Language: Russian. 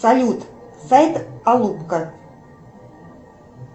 салют сайт алупка